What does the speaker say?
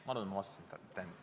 Ma arvan, et ma vastasin teile.